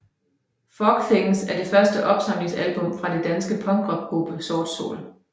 Fog Things er det første opsamlingsalbum fra den danske punkrockgruppe Sort Sol